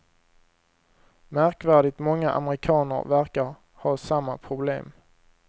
Märkvärdigt många amerikaner verkar ha samma problem.